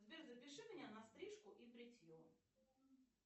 сбер запиши меня на стрижку и бритье